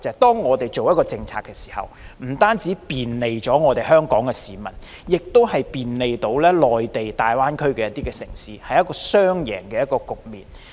當我們所推行的一項政策不僅能便利香港市民，也能便利內地大灣區城市的話，那便是一個雙贏局面。